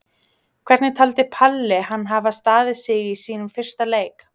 Hvernig taldi Palli hann hafa staðið sig í sínum fyrsta leik?